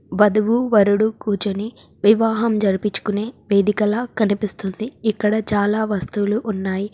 వధువు వరుడు కూర్చొని వివాహం జరిపిచ్చుకునే వేదికలా కనిపిస్తుంది. ఇక్కడ చాలా వస్తువులు ఉన్నాయి.